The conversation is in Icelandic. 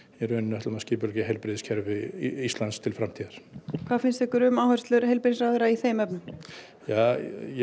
ætlum að skipuleggja heilbrigðiskerfið til framtíðar hvað finnst ykkur um áherslur ráðherra í þeim efnum já